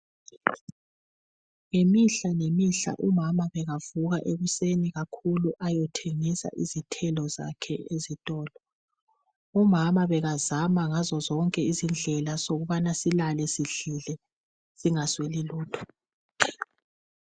Ngemihla ngemihla umama bekavuka ekuseni kakhulu ayothengisa izithelo zakhe ezitolo. Umama bekazama ngazo zonke izindlela zokubana silale sidlile singasweli lutho.